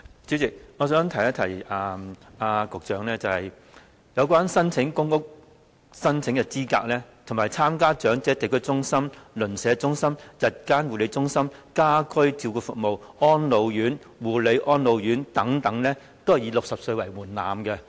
主席，我想提醒局長，申請公屋的資格，以及參加長者地區中心、鄰舍中心、日間護理中心、家居照顧服務、安老院、護理安老院等均以60歲為門檻。